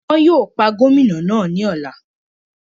Wọn yóò pa Gómìnà náà ní ọ̀la